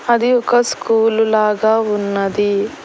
హది ఒక స్కూలు లాగా ఉన్నది.